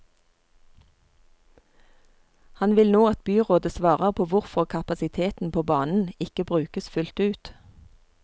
Han vil nå at byrådet svarer på hvorfor kapasiteten på banen ikke brukes fullt ut.